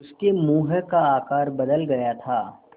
उसके मुँह का आकार बदल गया था